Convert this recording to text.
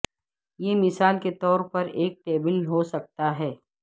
یہ مثال کے طور پر ایک ٹیبل ہو سکتا ہے